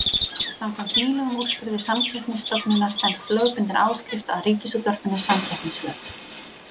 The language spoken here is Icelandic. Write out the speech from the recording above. Samkvæmt nýlegum úrskurði Samkeppnisstofnunar stenst lögbundin áskrift að Ríkisútvarpinu samkeppnislög.